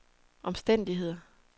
omstændigheder